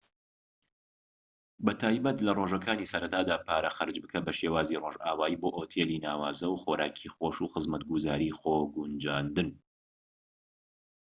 بەتایبەتی لە ڕۆژەکانی سەرەتادا پارە خەرج بکە بە شێوازی ڕۆژئاوایی بۆ ئۆتێلی ناوازە و خۆراکی خۆش و خزمەتگوزاریی خۆگونجاندن